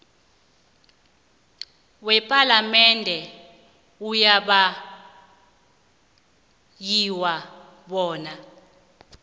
wepalamende ayabawiwa bona